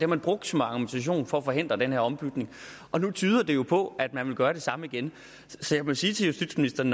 man brugt som argumentation for at forhindre den her ombytning og nu tyder det jo på at man vil gøre det samme igen så jeg må sige til justitsministeren